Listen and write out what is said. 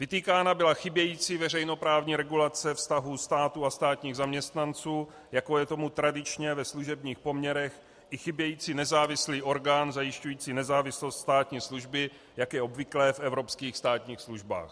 Vytýkána byla chybějící veřejnoprávní regulace vztahu státu a státních zaměstnanců, jako je tomu tradičně ve služebních poměrech, i chybějící nezávislý orgán zajišťující nezávislost státní služby, jak je obvyklé v evropských státních službách.